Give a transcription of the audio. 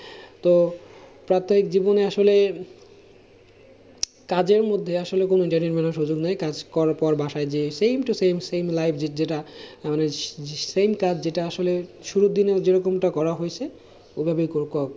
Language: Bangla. কাজের মধ্যে আসলে কোনো সুযোগ নেই কাজ করার পর বাসায় যেই same to same same life যেটা আমাদের s~same কাজ যেটা আসলে শুরুর দিনে যেরকম টা করা হয়েছে